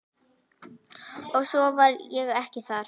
Og svo var ég ekki þar.